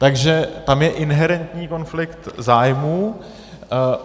Takže tam je inherentní konflikt zájmů.